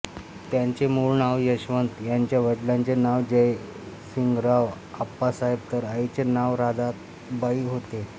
त्यांचे मूळ नाव यशवंत त्यांच्या वडिलांचे नाव जयसिंगराव आप्पासाहेब तर आईचे नाव राधाबाई होते